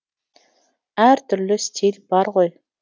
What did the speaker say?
әр түрлі стиль бар ғой